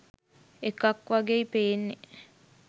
එකක් වගේයි පෙන්නේ